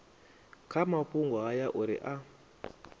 kha mafhungo haya uri a